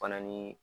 Fana ni